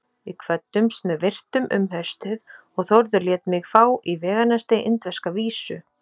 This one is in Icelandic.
Við kvöddumst með virktum um haustið og Þórður lét mig fá í veganesti indverska vísu.